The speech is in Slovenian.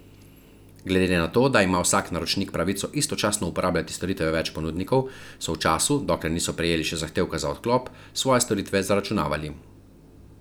Glede na to, da ima vsak naročnik pravico istočasno uporabljati storitve več ponudnikov, so v času, dokler niso prejeli še zahtevka za odklop, svoje storitve zaračunavali.